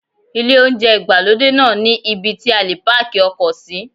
Ilé oúnjẹ ìgbàlódé náà ní ibí tí a lè páàkì ọkọ̀ sí.